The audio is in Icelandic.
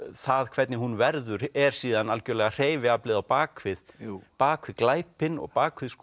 það hvernig hún verður er síðan algjörlega hreyfiaflið á bak við bak við glæpinn og bak við